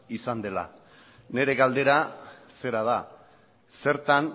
izan dela nere galdera zera da zertan